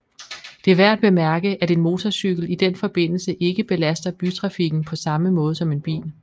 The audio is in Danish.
Det er værd at bemærke at en motorcykel i den forbindelse ikke belaster bytrafikken på samme måde som en bil